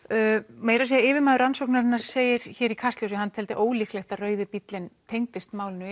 meira að segja yfirmaður rannsóknarinnar segir hér í Kastljósi að hann teldi ólíklegt að rauði bíllinn tengdist málinu